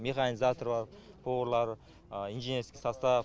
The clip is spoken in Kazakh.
механизатор бар поварлар инженерский состав